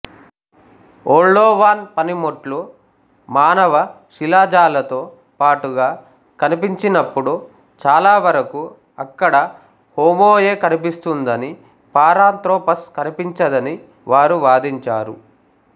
Oldowan పనిముట్లు మానవ శిలాజాలతో పాటుగా కనిపించినప్పుడు చాలావరకూ అక్కడ హోమో యే కనిపిస్తుందనీ పారాంత్రోపస్ కనిపించదనీ వారు వాదించారు